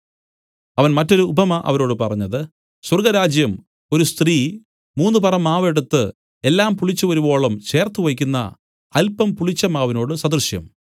അവൻ മറ്റൊരു ഉപമ അവരോട് പറഞ്ഞത് സ്വർഗ്ഗരാജ്യം ഒരു സ്ത്രീ മൂന്നുപറ മാവ് എടുത്ത് എല്ലാം പുളിച്ചുവരുവോളം ചേർത്തുവയ്ക്കുന്ന അല്പം പുളിച്ച മാവിനോടു സദൃശം